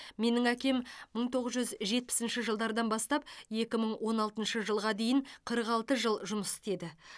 менің әкем мың тоғыз жүз жетпісінші жылдардан бастап екі мың он алтыншы жылға дейін қырық алты жыл жұмыс істеді